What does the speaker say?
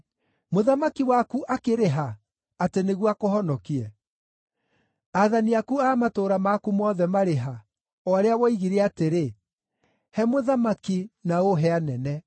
Mũthamaki waku akĩrĩ ha, atĩ nĩguo akũhonokie? Aathani aku a matũũra maku mothe marĩ ha, o arĩa woigire atĩrĩ, ‘He mũthamaki, na ũhe anene’?